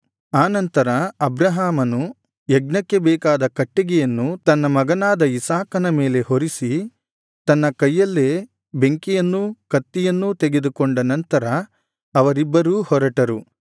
ಆನಂತರ ಅಬ್ರಹಾಮನು ಯಜ್ಞಕ್ಕೆ ಬೇಕಾದ ಕಟ್ಟಿಗೆಯನ್ನು ತನ್ನ ಮಗನಾದ ಇಸಾಕನ ಮೇಲೆ ಹೊರಿಸಿ ತನ್ನ ಕೈಯಲ್ಲೇ ಬೆಂಕಿಯನ್ನೂ ಕತ್ತಿಯನ್ನೂ ತೆಗೆದುಕೊಂಡ ನಂತರ ಅವರಿಬ್ಬರೂ ಹೊರಟರು